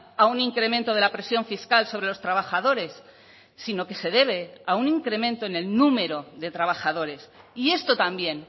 a un incremento de la presión fiscal sobre los trabajadores sino que se debe a un incremento en el número de trabajadores y esto también